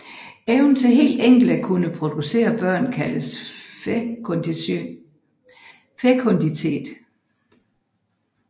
Evnen til helt enkelt at kunne producere børn kaldes fekunditet